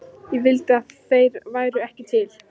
Ég vildi að þeir væru ekki til.